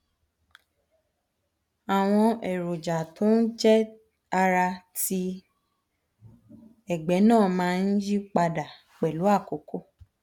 àwọn èròjà tó ń jẹ ara àti ti ẹgbẹ náà máa ń yí padà pẹlú àkókò